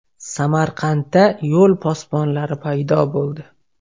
Samarqandda yo‘l posbonlari paydo bo‘ldi .